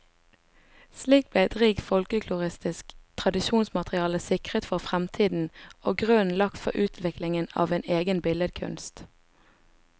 Slik ble et rikt folkloristisk tradisjonsmateriale sikret for fremtiden, og grunnen lagt for utviklingen av en egen billedkunst.